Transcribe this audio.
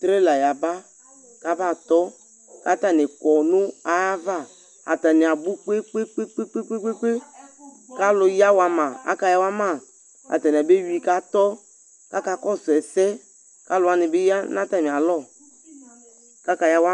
Trɛ la yaba, k'aba tɔ , k'atanɩ kɔ nʋ ayava:atanɩ abʋ kpekpekpekpekpekpe, k'alʋ yawa ma akayawa ma; atanɩ abeyui k'atɔ̄ K'aka kɔsʋ ɛsɛ, k'alʋwanɩ bɩ ya n'atamɩ alɔ: k'aka yawa